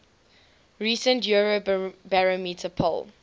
recent eurobarometer poll